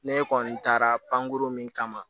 Ne kɔni taara pankuru min kama